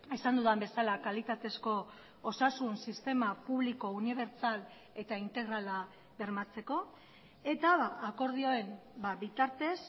esan dudan bezala kalitatezko osasun sistema publiko unibertsal eta integrala bermatzeko eta akordioen bitartez